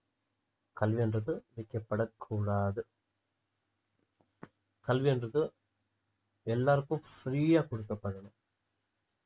கல்வின்றது விக்கப்படக் கூடாது கல்வின்றது எல்லாருக்கும் free யா கொடுக்கப்படணும்